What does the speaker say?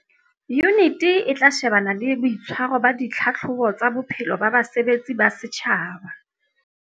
Yuniti e tla shebana le boitshwaro ba ditlhahlobo tsa bophelo ba basebetsi ba setjhaba.